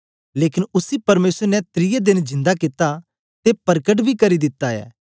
लेकन उसी परमेसर ने त्रिये देन जिंदा कित्ता ते परकट बी करी दिता ऐ